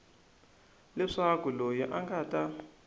leswaku loyi a nga ta